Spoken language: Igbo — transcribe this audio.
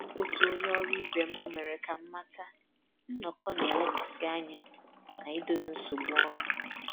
Otu onye ọrụ ibe m mere ka m mata nnọkọ na-elekwasị anya na idozi nsogbu ọnụ